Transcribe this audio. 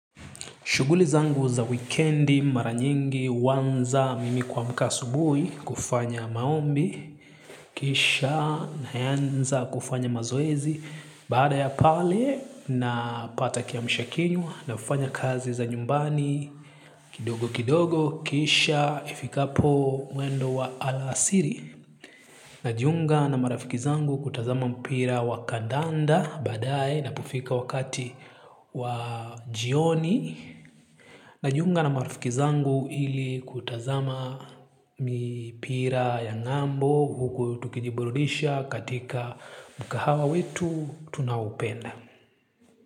Shughuli zangu za wikendi maranyingi huanza mimi kuamka asubuhi kufanya maombi, kisha na yaanza kufanya mazoezi, baada ya pale na pata kiamsha kinywa nafanya kazi za nyumbani kidogo kidogo kisha ifikapo mwendo wa alasiri. Najiunga na marafiki zangu kutazama mpira wakadanda baadae inapofika wakati wajioni. Najiunga na marafiki zangu hili kutazama mipira ya ng'ambo huku tukijiburudisha katika mkahawa wetu tunao hupenda.